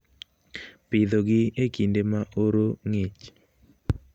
Pidhogi e kinde ma oro ng'ich